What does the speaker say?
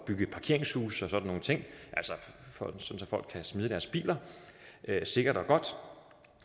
bygge parkeringshuse og sådan nogle ting så folk kan smide deres biler sikkert og godt og